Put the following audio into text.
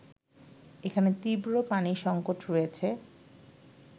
এখানে তীব্র পানি সংকট রয়েছে